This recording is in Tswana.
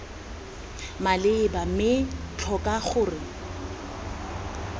maleba mme b tlhoka gore